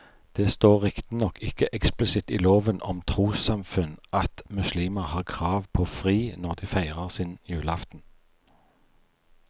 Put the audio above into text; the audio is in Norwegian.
Det står riktignok ikke eksplisitt i loven om trossamfunn at muslimer har krav på fri når de feirer sin julaften.